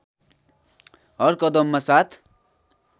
हर कदममा साथ